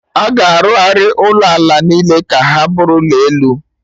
Aga arụgharị ụlọ ala niile ka ha bụrụ ụlọ elu